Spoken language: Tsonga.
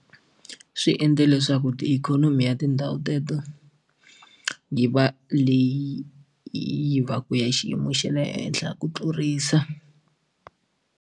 Swi endle leswaku tiikhonomi ya tindhawu teto yi va leyi yi va ku ya xiyimo xa le henhla ku tlurisa.